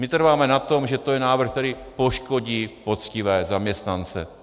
My trváme na tom, že to je návrh, který poškodí poctivé zaměstnance.